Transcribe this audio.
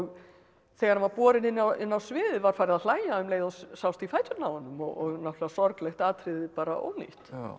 þegar hann var borinn inn á inn á sviðið var farið að hlæja um leið og sást í fæturna á honum og náttúrulega sorglegt atriði bara ónýtt